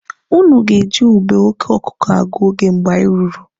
Ụnụ ga-eji ube oke ọkụkụ agụ oge mgbe anyị ruru.